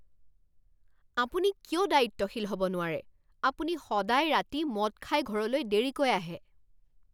আপুনি কিয় দায়িত্বশীল হ'ব নোৱাৰে? আপুনি সদায় ৰাতি মদ খাই ঘৰলৈ দেৰিকৈ আহে।